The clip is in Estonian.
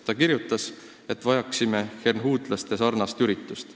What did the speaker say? Ta ütles, et vajaksime hernhuutlaste liikumise sarnast üritust.